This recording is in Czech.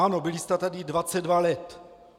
Ano, byli jste tady 22 let!